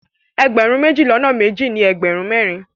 Ẹgbẹ̀rún méjì lọ́nà méjì ní ẹgbẹ̀rún mẹ́rin.